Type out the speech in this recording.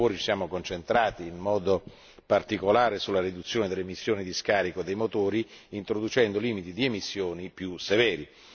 Durante i lavori ci siamo concentrati in modo particolare sulla riduzione delle emissioni di scarico dei motori introducendo limiti di emissioni più severi.